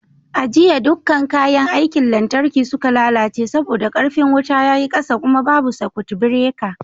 A jiya dukkan kayan aikin lantarki suka lalace saboda ƙarfin wuta ya yi ƙasa kuma babu sakut bireka